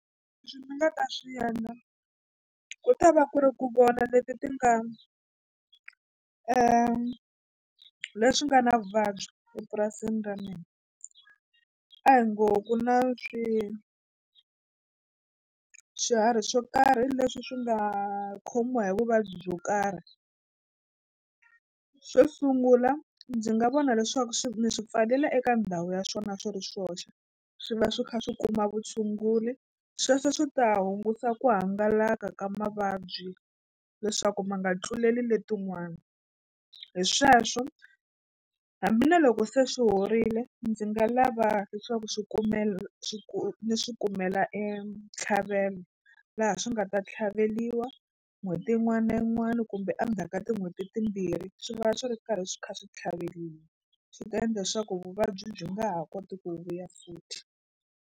Leswi ni nga ta swi endla ku ta va ku ri ku vona leti ti nga leswi nga na vuvabyi epurasini ra mina a hi ngo ku na swi swiharhi swo karhi leswi swi nga khomiwa hi vuvabyi byo karhi xo sungula ndzi nga vona leswaku swi ni swi pfalela eka ndhawu ya swona swi ri swoxe swi va swi kha swi kuma vutshunguri sweswo swi ta hunguta ku hangalaka ka mavabyi leswaku ma nga tluleli letin'wana hi sweswo hambi na loko se swi horile ndzi nga lava leswaku swi kumela swi ku ni swi kumela e ntlhavelo laha swi nga ta tlhaveliwa n'hweti yin'wana na yin'wana kumbe endzhaku ka tin'hweti timbirhi swi va swi ri karhi swi kha swi tlhaveliwa swi ta endla swa ku vuvabyi byi nga ha koti ku vuya futhi.